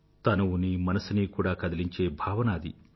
తనువునీ మనసునీ కూడా కదిలించే భావన అది